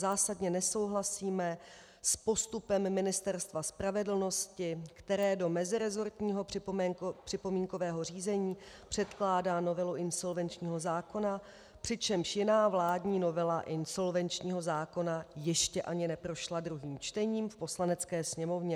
Zásadně nesouhlasíme s postupem Ministerstva spravedlnosti, které do meziresortního připomínkového řízení předkládá novelu insolvenčního zákona, přičemž jiná vládní novela insolvenčního zákona ještě ani neprošla druhým čtením v Poslanecké sněmovně.